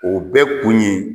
O bɛɛ kun ye